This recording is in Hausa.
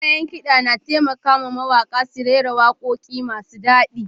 Kayan kida na taimaka wa mawaƙa su rera waƙoƙi masu daɗi.